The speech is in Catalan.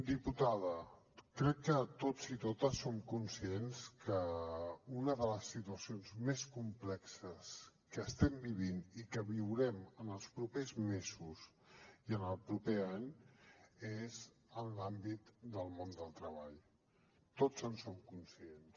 diputada crec que tots i totes som conscients que una de les situacions més complexes que estem vivint i que viurem en els propers mesos i en el proper any és en l’àmbit del món del treball tots en som conscients